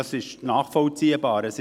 Das ist nachvollziehbar.